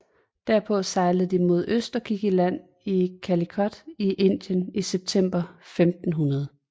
Derpå sejlede de mod øst og gik i land i Calicut i Indien i september 1500